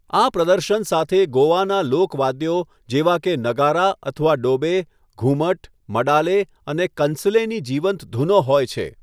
આ પ્રદર્શન સાથે ગોવાનાં લોક વાદ્યો જેવા કે નગારા અથવા ડોબે, ઘુમટ, મડાલે અને કંસલેની જીવંત ધૂનો હોય છે.